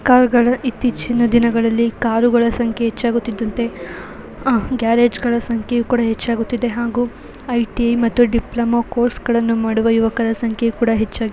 ಕಾರುಗಳು ಇತ್ತೀಚಿನ ದಿನಗಳಲ್ಲಿ ಕಾರುಗಳ ಸಂಖ್ಯೆ ಹೆಚ್ಚಾಗುತ್ತಿದ್ದಂತೆ ಗ್ಯಾರೇಜ್ನ ಸಂಖ್ಯೆ ಕೂಡ ಹೆಚ್ಚಾಗುತ್ತದೆ ಹಾಗು ಐಟಿ ಮತು ಡಿಪ್ಲೋಮ ಕೋರ್ಸ್ಗಳನು ಮಾಡುವ ಯುವಕರ ಸಂಖ್ಯೆ ಕೂಡ ಹೆಚ್ಚಾಗುತ್ತದೆ.